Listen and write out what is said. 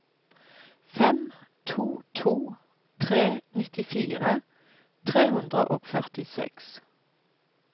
fem to to tre nittifire tre hundre og førtiseks